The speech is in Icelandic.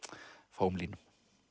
fáum línum